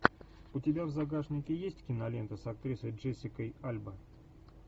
у тебя в загашнике есть кинолента с актрисой джессика альба